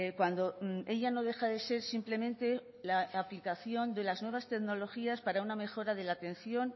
cuando ella no deja de ser simplemente la aplicación de las nuevas tecnologías para una mejora de la atención